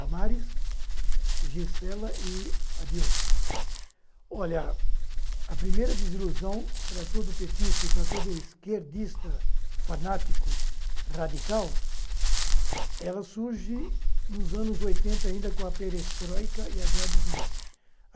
Damaris Gisela e Adilson. Olha a primeira desilusão para todo petista e para todo esquerdista, fanático, radical, ela surge nos anos oitenta ainda com a Perestroika e a Gladis Nosti.